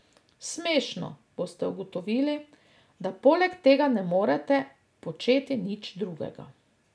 Smešno, boste ugotovili, da poleg tega ne morete početi nič drugega.